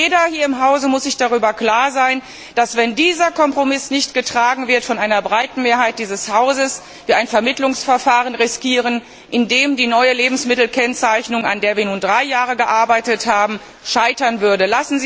Jeder in diesem Hause muss sich darüber klar sein, dass wir, wenn dieser Kompromiss nicht von einer breiten Mehrheit dieses Hauses getragen wird, ein Vermittlungsverfahren riskieren, in dem die neue Lebensmittelkennzeichnung an der wir nun drei Jahre gearbeitet haben scheitern würde.